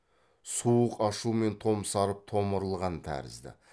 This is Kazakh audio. суық ашумен томсарып томырылған тәрізді